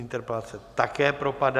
Interpelace také propadá.